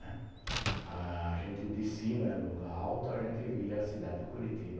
A gente de cima, era um lugar alto, a gente via a cidade de Curitiba,